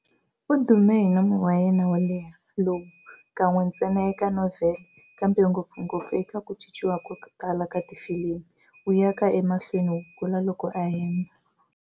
U dume hi nomo wa yena wo leha, lowu, kan'we ntsena eka novhele, kambe ngopfungopfu eka ku cinciwa ko tala ka tifilimi, wu yaka emahlweni wu kula loko a hemba.